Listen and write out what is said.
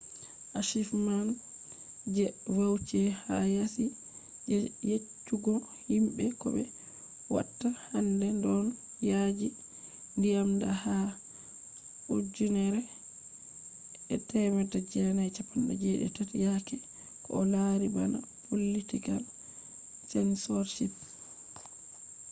achievements je vautier ha yasi je yeccugo himbe ko be watta hander don yaji nyamde ha 1973 yaake ko o lari bana political censorship